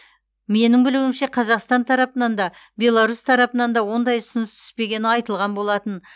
менің білуімше қазақстан тарапынан да беларусь тарапынан да ондай ұсыныс түспегені айтылған болатын